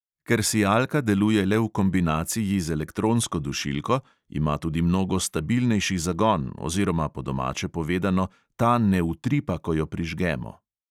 Ker sijalka deluje le v kombinaciji z elektronsko dušilko, ima tudi mnogo stabilnejši zagon ozrioma, po domače povedano, ta ne utripa, ko jo prižgemo.